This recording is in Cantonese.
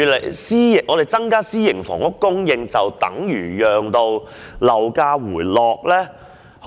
然而，增加私營房屋供應是否便可令樓價回落呢？